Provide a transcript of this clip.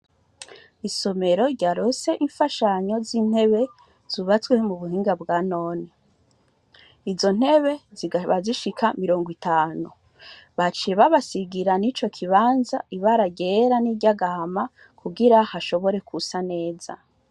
Isomero ryaronse imfashanyo z'intebe zubatswe mu buhinga bwa none. Izo ntebe zikaba zishika mirongo itanu. Baciye babasigira n'ico kibanza ibara ryera niry'agahama kugira hashobore gusa neza.